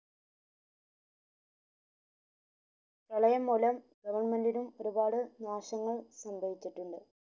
പ്രളയം മുലം government ഉം ഒരുപാട് നാശനങ്ങൾ സംഭവിച്ചിട്ടുണ്ട്